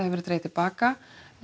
verið dregið til baka